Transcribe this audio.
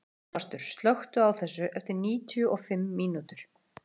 Sigfastur, slökktu á þessu eftir níutíu og fimm mínútur.